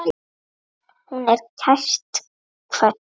Hún er kært kvödd.